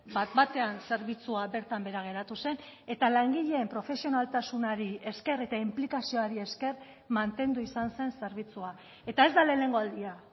bat batean zerbitzua bertan behera geratu zen eta langileen profesionaltasunari esker eta inplikazioari esker mantendu izan zen zerbitzua eta ez da lehenengo aldia